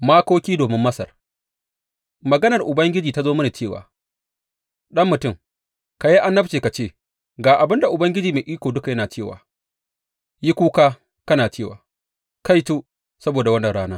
Makoki domin Masar Maganar Ubangiji ta zo mini cewa, Ɗan mutum, ka yi annabci ka ce, Ga abin da Ubangiji Mai Iko Duka yana cewa, Yi kuka kana cewa, Kaito saboda wannan rana!